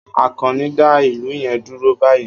Akanni, dá ìlù yẹn dúró báyìí!